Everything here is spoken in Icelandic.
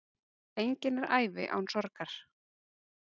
Engin er ævi án sorgar.